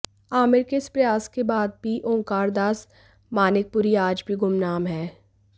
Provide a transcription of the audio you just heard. आमिर के इस प्रयास के बाद भी ओंकारदास मानिकपुरी आज भी गुमनाम है